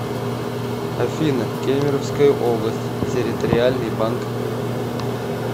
афина кемеровская область территориальный банк